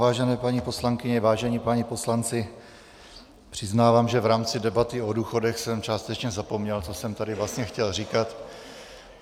Vážené paní poslankyně, vážení páni poslanci, přiznávám, že v rámci debaty o důchodech jsem částečně zapomněl, co jsem tady vlastně chtěl říkat.